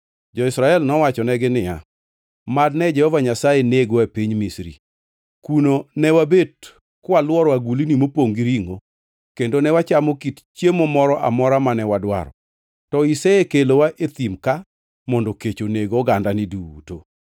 Jo-Israel nowachonegi niya, “Mad ne Jehova Nyasaye negwa e piny Misri! Kuno ne wabet kwalworo agulni mopongʼ gi ringʼo, kendo ne wachamo kit chiemo moro amora mane wadwaro, to isekelowa e thim ka mondo kech oneg ogandani duto.”